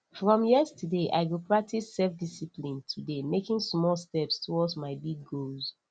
from yesterday i go practice selfdiscipline today making small steps toward my big goals